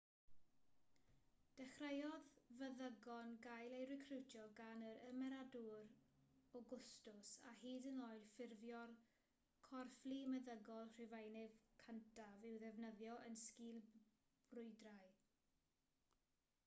dechreuodd feddygon gael eu recriwtio gan yr ymerawdwr awgwstws a hyd yn oed ffurfio'r corfflu meddygol rhufeinig cyntaf i'w ddefnyddio yn sgìl brwydrau